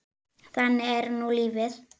Þannig er nú lífið.